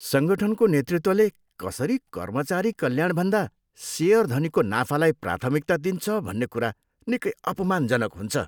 सङ्गठनको नेतृत्वले कसरी कर्मचारी कल्याणभन्दा सेयरधनीको नाफालाई प्राथमिकता दिन्छ भन्ने कुरा निकै अपमानजनक हुन्छ।